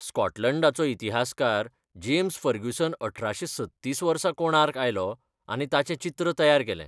स्कॉटलंडाचो इतिहासकार James Fergusson अठराशे सत्तीस वर्सा कोणार्क आयलो आनी ताचें चित्र तयार केलें.